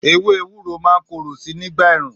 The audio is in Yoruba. Èwé èwúrò mà ń kòroó si nigba èrún